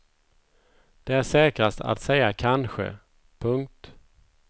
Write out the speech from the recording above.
Det är säkrast att säga kanske. punkt